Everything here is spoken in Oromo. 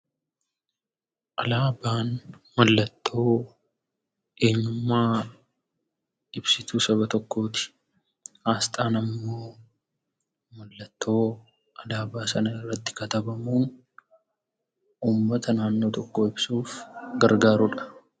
Alaabaan mallattoo eenyummaa ibsituu saba tokkooti. Asxaan ammoo mallattoo alaabaa sana irratti katabamu uummata naannoo tokkoo ibsuuf gargaarudha.